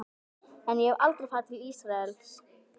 En ég hef aldrei farið til Ísraels.